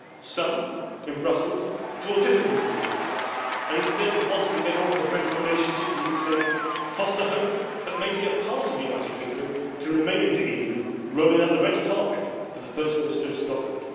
Some in Brussels draw different conclusions and, instead of wanting to get on with a friendly relationship with the UK, foster hope that maybe a part of the United Kingdom can remain in the EU, rolling out the red carpet for the First Minister of Scotland.